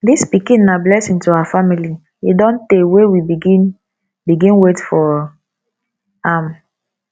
dis pikin na blessing to our family e don tey wey we begin begin wait for am